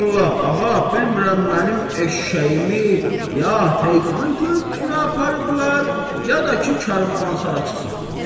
Vallahi ağa, bilmirəm mənim eşşəyimi ya xan körpüsünə aparıblar, ya da ki, karvansaraçı saxlayıb.